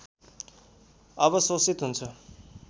अवशोषित हुन्छ